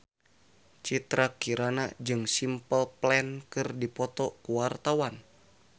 Citra Kirana jeung Simple Plan keur dipoto ku wartawan